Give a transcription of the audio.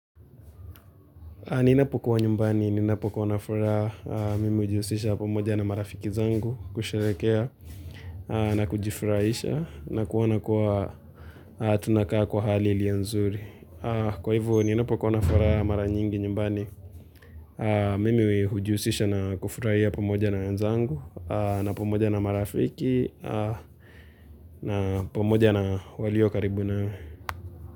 Ninapokuwa nyumbani, ninapokuwa na furaha, mimi hujihusisha pamoja na marafiki zangu kusherehekea na kujifurahisha na kuona kuwa tunakaa kwa hali ilio nzuri. Kwa hivyo, ninapokuwa na furaha mara nyingi nyumbani, mimi hujihusisha na kufurahia pamoja na wenzangu, na pamoja na marafiki, na pamoja na walio karibu na.